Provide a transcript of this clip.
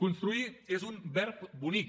construir és un verb bonic